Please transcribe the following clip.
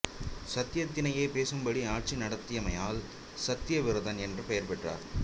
சத்தியத்தினையே பேசும் படி ஆட்சி நடத்தியமையால் சத்தியவிரதன் என்று பெயர் பெற்றார்